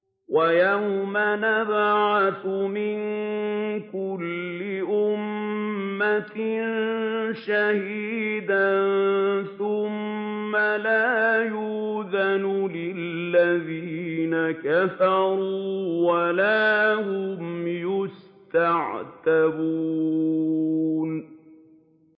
وَيَوْمَ نَبْعَثُ مِن كُلِّ أُمَّةٍ شَهِيدًا ثُمَّ لَا يُؤْذَنُ لِلَّذِينَ كَفَرُوا وَلَا هُمْ يُسْتَعْتَبُونَ